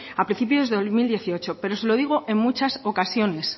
a principio de dos mil dieciocho pero se lo digo en muchas ocasiones